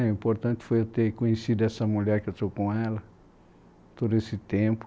O importante foi eu ter conhecido essa mulher que eu estou com ela, todo esse tempo.